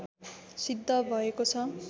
सिद्ध भएको छ